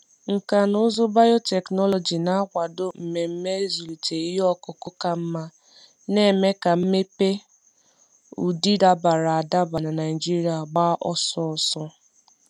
Nkà na ụzụ biotechnology na-akwado mmemme ịzụlite ihe ọkụkụ ka mma, na-eme ka mmepe ụdị dabara adaba na Naijiria gba ọsọ ọsọ.